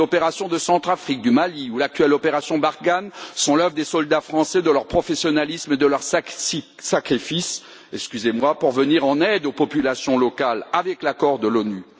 Les opérations en Centrafrique, au Mali, ou encore l'actuelle opération Barkhane sont l'œuvre des soldats français, de leur professionnalisme et de leur sacrifice pour venir en aide aux populations locales, avec l'accord de l'ONU.